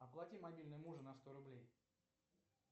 оплати мобильный мужа на сто рублей